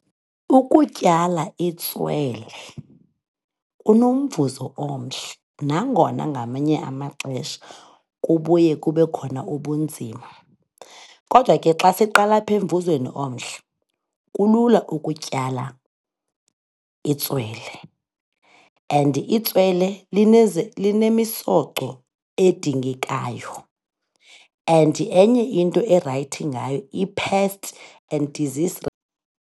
Ukutyala itswele kunomvuzo omhle nangona ngamanye amaxesha kubuye kube khona ubunzima. Kodwa ke xa siqala apha emvuzweni omhle, kulula ukutyala itswele and itswele linemisoco edingekayo and enye into erayithi ngayo i-pest and disease